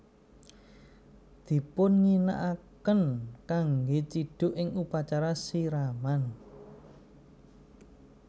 Dipunginakaken kanggè cidhuk ing upacara siraman